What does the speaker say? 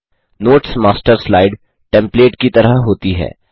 notes master slide template की तरह होती है